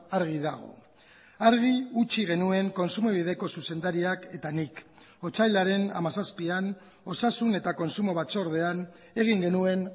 argi dago argi utzi genuen kontsumobideko zuzendariak eta nik otsailaren hamazazpian osasun eta kontsumo batzordean egin genuen